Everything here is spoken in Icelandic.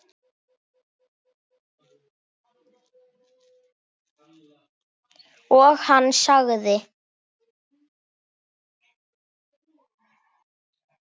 Og hann sagði